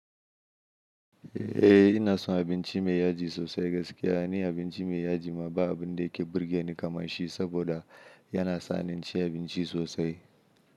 Eh ina son abinci mai yaji sosai gaskiya ni abinci mai yaji ma ba abun da yake burge ni kamar shi saboda yana sanin ci abinci sosai.